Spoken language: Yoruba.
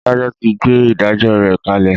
Adájọ ti gbé “ ìdájọ ” rẹ̀ kalẹ̀.